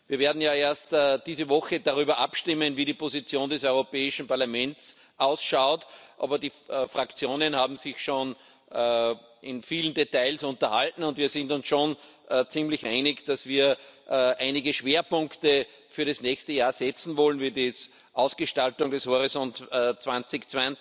Wir werden ja erst diese Woche darüber abstimmen, wie die Position des Europäischen Parlaments aussieht, aber die Fraktionen haben sich schon über viele Details unterhalten und wir sind uns schon ziemlich einig, dass wir einige Schwerpunkte für das nächste Jahr setzen wollen wie die Ausgestaltung des Horizont 2020,